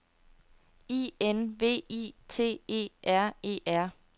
I N V I T E R E R